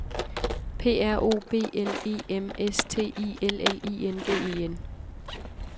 P R O B L E M S T I L L I N G E N